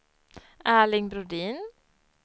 Erling Brodin